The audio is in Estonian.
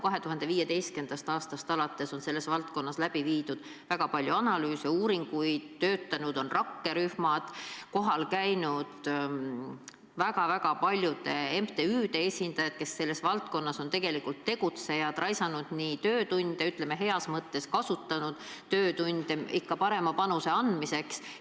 2015. aastast alates on selles valdkonnas läbi viidud väga palju analüüse, uuringuid, töötanud on rakkerühmad, kohal käinud väga-väga paljude MTÜ-de esindajad, kes selles valdkonnas on tegelikult tegutsejad, raisanud töötunde või ütleme siiski heas mõttes, kasutanud töötunde – ikka parema panuse andmiseks.